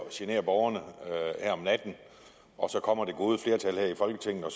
at genere borgerne her om natten og så kommer det gode flertal her i folketinget og